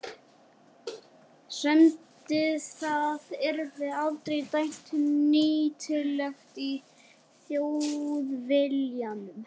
semdi það yrði aldrei dæmt nýtilegt í Þjóðviljanum.